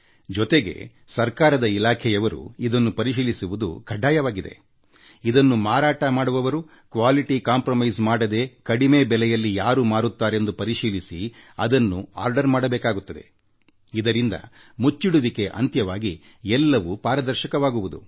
ಜೊತೆಗೆ ಸರ್ಕಾರದ ಇಲಾಖೆಯವರು ಈ ತಾಣಕ್ಕೆ ಬೇಟಿ ನೀಡಿ ಪರಿಶೀಲಿಸುವುದು ಖಡ್ಡಾಯವಾಗಿದೆ ಗುಣಮಟ್ಟದಲ್ಲಿ ರಾಜೀ ಮಾಡಿಕೊಳ್ಳದೆಮಾರಾಟ ಮಾಡುವವರು ಇದನ್ನು ಕಡಿಮೆ ಬೆಲೆಯಲ್ಲಿ ಯಾರು ಮಾರುತ್ತಾರೆಂದು ಪರಿಶಿಲಿಸಿ ಅದನ್ನು ಬೇಡಿಕೆಯನ್ನು ಸಲ್ಲಿಸಬೇಕಾಗುತ್ತದೆ ಇದರಿಂದ ಮಧ್ಯವರ್ತಿಗಳ ಕಾಟ ತಪ್ಪಿ ಎಲ್ಲವೂ ಪಾರದರ್ಶಕವಾಗುತ್ತದೆ